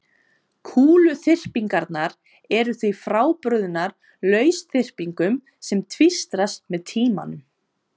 kúluþyrpingarnar eru því frábrugðnar lausþyrpingum sem tvístrast með tímanum